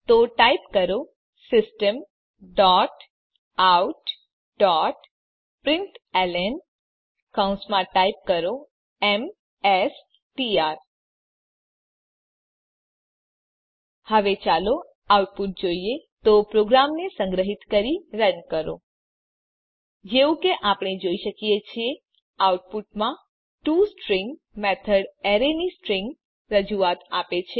તો ટાઈપ કરો system dot out dot println કૌંસમાં ટાઈપ કરો એમએસટીઆર હવે ચાલો આઉટપુટ જોઈએ તો પ્રોગ્રામને સંગ્રહીત કરી રન કરો જેવું કે આપણે જોઈ શકીએ છીએ આઉટપુટમાં ટોસ્ટ્રીંગ મેથડ એરે ની સ્ટ્રીંગ રજૂઆત આપે છે